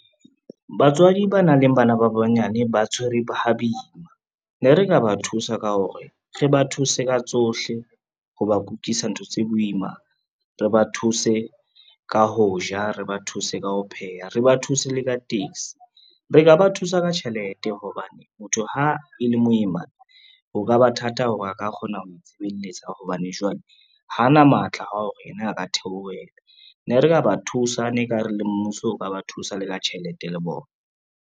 Batswadi ba nang le bana ba banyane ba tshwere ha boima. Ne re ka ba thusa ka hore, re ba thuse ka tsohle ho ba kukisa ntho tse boima, re ba thuse ka ho ja, re ba thuse ka ho pheha, re ba thuse le ka taxi. Re ka ba thusa ka tjhelete hobane motho ha e le moimana, ho ka ba thata hore a ka kgona ho itshebeletsa hobane jwale ha na matla a hore yena a ka theohela, ne re ka ba thusa, ne e ka re le mmuso o ka ba thusa le ka tjhelete le bona.